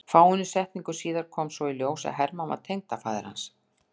Fáeinum setningum síðar kom svo í ljós að Hermann var tengdafaðir hans.